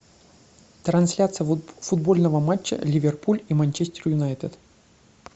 трансляция футбольного матча ливерпуль и манчестер юнайтед